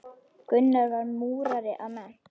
Gunnar var múrari að mennt.